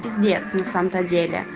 пиздец на самом-то деле